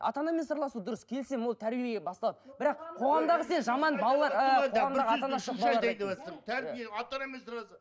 ата анамен сырласу дұрыс келісемін ол тәрбие басталады бірақ қоғамдағы